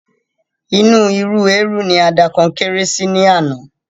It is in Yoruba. Inú ìru ẹrù ni a da Konkéré sí ní àná